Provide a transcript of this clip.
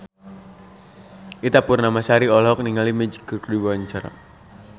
Ita Purnamasari olohok ningali Magic keur diwawancara